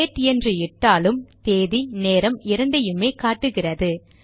date என்று இட்டாலும் தேதி நேரம் இரண்டையுமே காட்டுகிறது